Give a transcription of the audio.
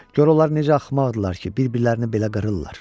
Gör onlar necə axmaqdırlar ki, bir-birlərini belə qırırlar.